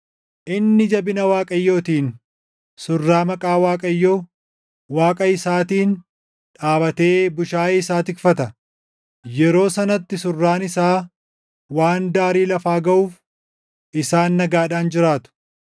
Inni jabina Waaqayyootiin surraa maqaa Waaqayyo, Waaqa isaatiin dhaabatee bushaayee isaa tikfata. Yeroo sanatti surraan isaa waan daarii lafaa gaʼuuf isaan nagaadhaan jiraatu.